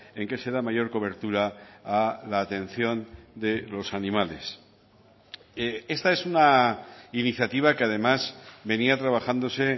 en qué se da mayor cobertura a la atención de los animales esta es una iniciativa que además venía trabajándose